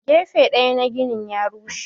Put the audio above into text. Gefen daya na ginin ya rushe.